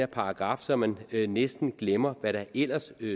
paragraf så man næsten glemmer hvad der ellers